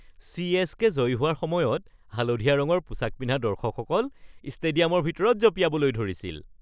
CSK. জয়ী হোৱাৰ সময়ত হালধীয়া ৰঙৰ পোচাক পিন্ধা দৰ্শকসকল ষ্টেডিয়ামৰ ভিতৰত জপিয়াবলৈ ধৰিছিল।